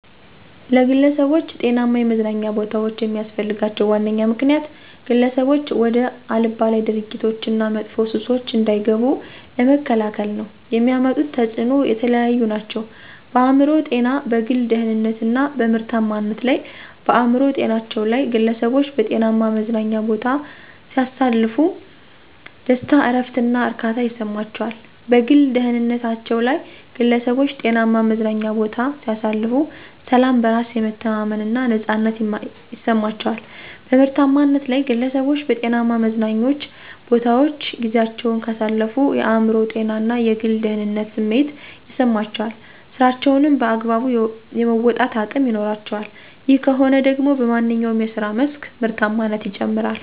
ለግለሠቦች ጤናማ የመዝናኛ ቦታዎች የሚስፈልጋቸው ዋነኛ ምክንያት፦ ግለሠቦች ወደ አልባሌ ድርጊቶች እና መጥፎ ሱሶች እንዳይገቡ ለመከላከል ነው። የሚያመጡት ተፅኖም የተለያዩ ናቸው፦ በአእምሮ ጤና፣ በግል ደህንነት እና በምርታማነት ላይ። -በአእምሮ ጤናቸው ላይ፦ ግለሠቦች በጤናማ መዝናኛ ቦታ ሲያሳልፉ ደስታ፣ እረፍት እና እርካታ ይሠማቸዋል። -በግል ደህንነታቸ ላይ ግለሠቦች ጤናማ መዝናኛ ቦታ ሲያሳልፉ፦ ሠላም፣ በራስ የመተማመን እና ነፃነት ይማቸዋል። -በምርታማነት ላይ፦ ግለሠቦች በጤናማ መዝናኞ ቦታወች ጊዚያቸውን ካሳለፉ የአእምሮ ጤና እና የግል ደህንነት ስሜት ይሠማቸዋል ስራቸውንም በአግባቡ የመወጣት አቅም ይኖራቸዋል። ይህ ከሆነ ደግሞ በማንኛው የስራ መስክ ምርታማነት ይጨምራል።